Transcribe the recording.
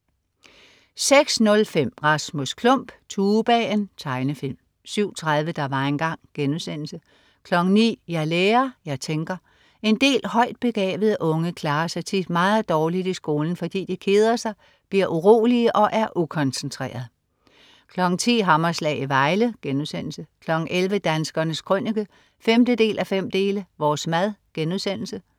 06.05 Rasmus Klump. Tubaen. Tegnefilm 07.30 Der var engang* 09.00 Jeg lærer, jeg tænker. En del højt begavede unge klarer sig tit meget dårligt i skolen, fordi de keder sig, bliver urolige og er ukoncentrerede 10.00 Hammerslag i Vejle* 11.00 Danskernes Krønike 5:5. Vores mad*